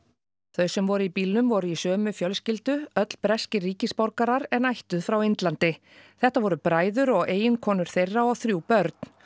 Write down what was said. þau sem voru í bílnum voru í sömu fjölskyldu öll breskir en ættuð frá Indlandi þetta voru bræður og eiginkonur þeirra og þrjú börn